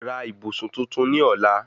Ra ìbùsùn tuntun ní ọ̀la